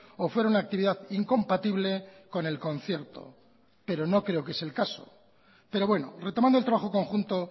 o fuera una actividad incompatible con el concierto pero no creo que es el caso pero bueno retomando el trabajo conjunto